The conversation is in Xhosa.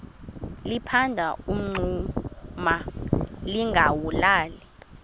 liphanda umngxuma lingawulali